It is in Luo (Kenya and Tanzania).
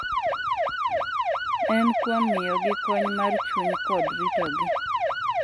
En kuom miyogi kony mar chuny kod ritogi.